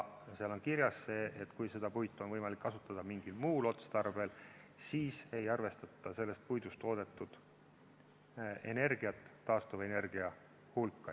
Seal on kirjas see, et kui seda puitu on võimalik kasutada mingil muul otstarbel, siis ei arvestata sellest puidust toodetud energiat taastuvenergia hulka.